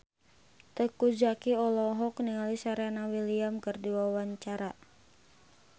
Teuku Zacky olohok ningali Serena Williams keur diwawancara